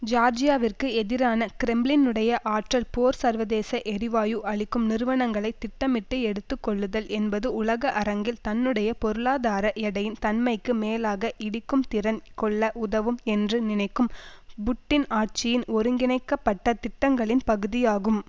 ஜியார்ஜியாவிற்கு எதிரான கிரெம்ளினுடைய ஆற்றல் போர் சர்வதேச எரிவாயு அளிக்கும் நிறுவனங்களை திட்டமிட்டு எடுத்து கொள்ளுதல் என்பது உலக அரங்கில் தன்னுடைய பொருளாதார எடையின் தன்மைக்கும் மேலாக இடிக்கும்திறன் கொள்ள உதவும் என்று நினைக்கும் புட்டின் ஆட்சியின் ஒருங்கிணைக்கப்பட்ட திட்டங்களின் பகுதியாகும்